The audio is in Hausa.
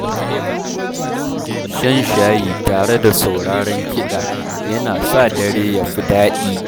Shan shayi tare da sauraron kiɗa, yana sa dare ya fi daɗi.